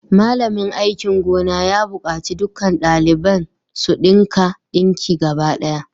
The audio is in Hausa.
Malamin aikin gona ya bukaci dukkan daliban su dinka dinki gaba daya